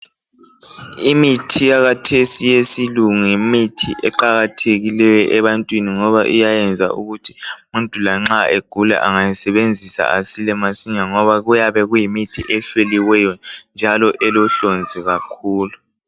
imithi yakhathesi eyesilungu yimithi aqakathekileyo ebantwini ngoba iyayenza ukuthi umuntu lanxa egula angayisebenzisa asile masinya ngoba kuyabe kuyimithi ehloliweyo njalo elohlonzi kakhulu